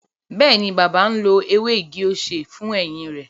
Bẹẹni, bàbá náà ń lo ewé igi-osè fún eyín rẹ